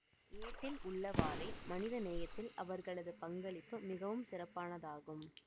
ஏட்டில் உள்ளவாறே மனித நேயத்தில் அவர்களது பங்களிப்பு மிகவும் சிறப்பானதாகும்